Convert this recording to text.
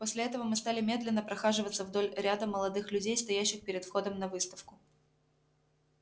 после этого мы стали медленно прохаживаться вдоль ряда молодых людей стоящих перед входом на выставку